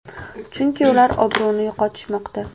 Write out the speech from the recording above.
Chunki ular obro‘ni yo‘qotishmoqda.